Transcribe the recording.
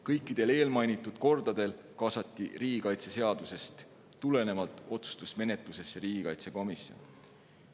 Kõikidel eelmainitud kordadel kaasati riigikaitseseadusest tulenevalt otsustusmenetlusse riigikaitsekomisjon.